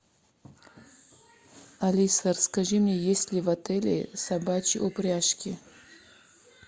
алиса расскажи мне есть ли в отеле собачьи упряжки